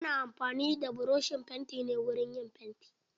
Ana amfani da buroshin fanti ne wurin fanti.